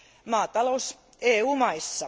maatalous EU maissa.